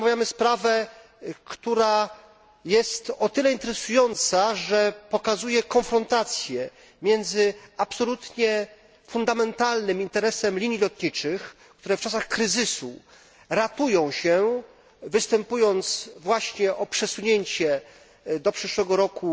Dzisiaj omawiamy sprawę, która jest o tyle interesująca, że pokazuje konfrontację miedzy absolutnie fundamentalnym interesem linii lotniczych, które w czasach kryzysu ratują się, występując właśnie o przesunięcie do przyszłego roku